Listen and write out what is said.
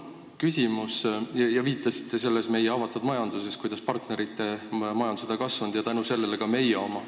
Te viitasite selles meie avatud vestluses, kuidas partnerite majandus on kasvanud ja tänu sellele ka meie oma.